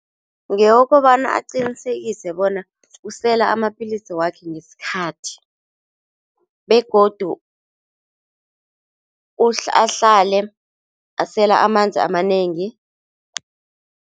Ngewokobana aqinisekise bona usela amapilisi wakhe ngesikhathi begodu ahlale asela amanzi amanengi.